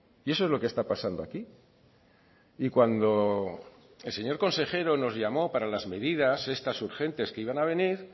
y eso es lo que está pasando aquí y cuando el señor consejero nos llamó para las medidas estas urgentes que iban a venir